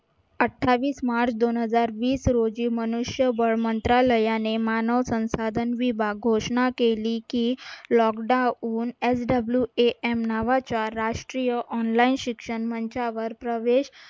अठ्ठावीस मार्च दोन हजार वीस रोजी मनुष्यबळ मंत्रालयाने मानव संसाधन विभाग घोषणा केली की lockdown swam नावाच्या राष्ट्रीय online शिक्षण मंचावर प्रवेश